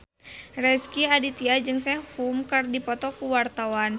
Rezky Aditya jeung Sehun keur dipoto ku wartawan